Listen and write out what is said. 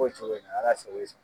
b'o cogo in na Ala sago i sago.